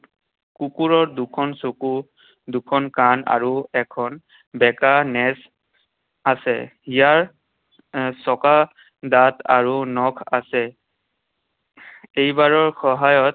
কুকুৰৰ দুখন চকু, দুখন কাণ, আৰু এখনবেকা নেজ আছে। ইয়াৰ চকু, দাঁত আৰু নখ আছে। এইবাৰৰ সহায়ত